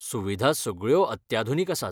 सुविधा सगळ्यो अत्याधुनीक आसात.